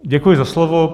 Děkuji za slovo.